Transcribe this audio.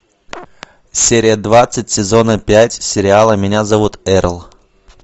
серия двадцать сезона пять сериала меня зовут эрл